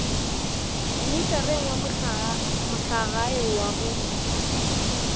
mmitareng wa mohlagae wa go